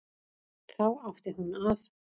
Þá átti hún að